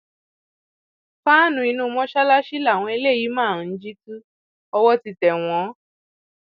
fàánú inú mọsálásí làwọn eléyìí máa ń jí tu owó ti tẹ wọn